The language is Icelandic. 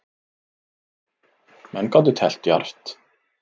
Menn gátu teflt djarft.